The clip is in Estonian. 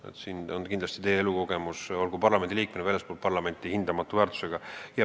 Selles valdkonnas kindlasti on teie elukogemused olgu parlamendiliikmena või väljaspool parlamenti hindamatu väärtusega.